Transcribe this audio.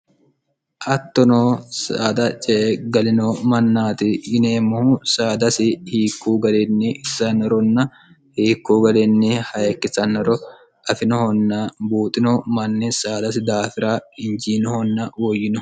hattonoo saada ce'e galino mannaati yineemmohu saadasi hiikkuu garinni itsanironna hiikkuu gariinni hayikkisanniro afinohonna buuxino manni saadasi daafira hinjiinohonna woyyinoho